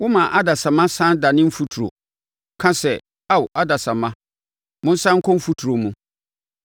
Woma adasamma sane dane mfuturo, ka sɛ, “Ao adasamma, monsane nkɔ mfuturo mu.”